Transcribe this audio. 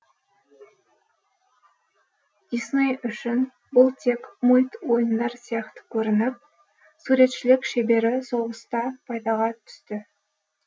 дисней үшін бұл тек мульт ойындар сияқты көрініп суретшілік шебері соғыста пайдаға түсті